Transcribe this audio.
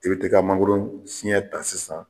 I bɛ t'i ka mangoro siyɛn ta sisan.